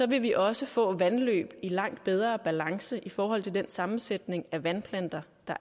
vil vi også få vandløb i langt bedre balance i forhold til den sammensætning af vandplanter